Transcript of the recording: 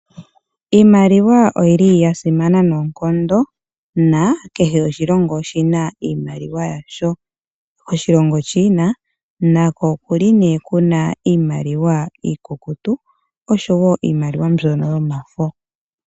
Iimaliwa oyi li ya simana noonkondo na kehe oshilongo oshi na iimaliwa yasho. Oshilongo China nako okuli nee kuna iimaliwa iikukutu osho woo iimaliwa mbyono yomafo.